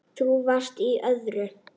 Þú varst í öðru.